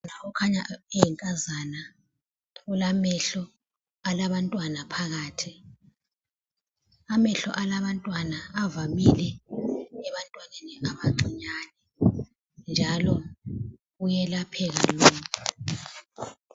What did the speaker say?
Kukhanya eyinkazana ulamehlo alabantwana phakathi, amehlo alabantwana avamile ebantwaneni abancinyane njalo kuyelapheka.